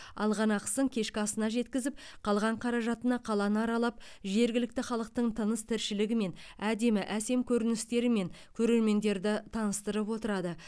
алған ақысын кешкі асына жеткізіп қалған қаражатына қаланы аралап жергілікті халықтың тыныс тіршілігімен әдемі әсем көріністерімен көрермендерді таныстырып отырады